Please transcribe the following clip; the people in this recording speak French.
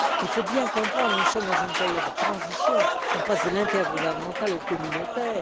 Il faut bien comprendre que nous sommes dans une période de transition on passe de l'intergouvernemental au communautaire.